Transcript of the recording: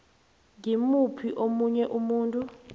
ngimuphi omunye umuntu